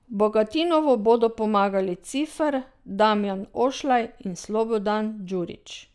Bogatinovu bodo pomagali Cifer, Damjan Ošlaj in Slobodan Djurič.